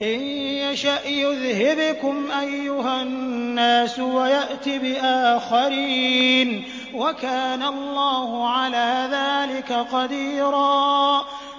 إِن يَشَأْ يُذْهِبْكُمْ أَيُّهَا النَّاسُ وَيَأْتِ بِآخَرِينَ ۚ وَكَانَ اللَّهُ عَلَىٰ ذَٰلِكَ قَدِيرًا